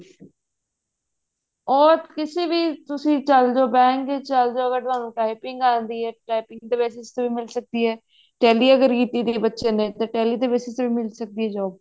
ਉਹ ਕਿਸੀ ਵੀ ਤੁਸੀਂ ਚਲ੍ਜੋ bank ਚ ਚਲ੍ਜੋ ਅਗਰ ਤੁਹਾਨੂੰ typing ਆਉਂਦੀ ਹੈ typing ਦੇ ਵਿੱਚ ਮਿਲ ਸਕਦੀ ਹੈ ਕਹਿੰਦੀ ਅਗਰ ਰੀਤੀ ਦੇ ਬੱਚੇ ਨੇ tally ਦੇ basis ਤੇ ਵੀ ਮਿਲ ਜਾਂਦੀ ਹੈ